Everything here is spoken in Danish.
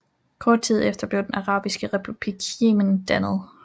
Kort tid efter blev Den arabiske republik Yemen dannet